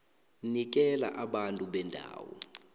nikela abantu bendawo